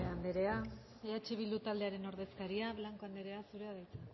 guanche andrea eh bildu taldearen ordezkaria blanco andrea zurea da hitza